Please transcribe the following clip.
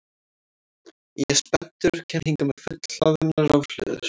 Ég er spenntur og kem hingað með fullhlaðnar rafhlöður.